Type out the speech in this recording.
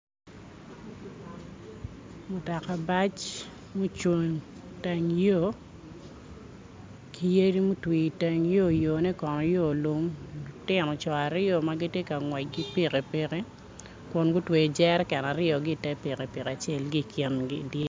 mutoka bac mucung iteng yo ki yadi mutwi iteng yo, yone kono yo lum luntino co aryo ma gitye ka ngwec ki pikipiki kun gutweyo jereken aryo ki i te pikipiki acel ki i kingi